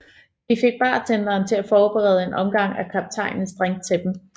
De fik bartenderen til at forberede en omgang af kaptajnens drink til dem